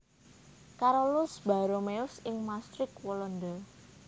Carolus Borromeus ing Maastricht Walanda